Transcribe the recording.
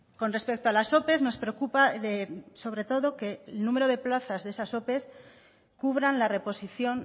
con respecto a las ope nos preocupa sobre todo que el número de plazas de esas ope cubran la reposición